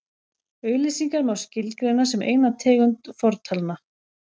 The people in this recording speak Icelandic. auglýsingar má skilgreina sem eina tegund fortalna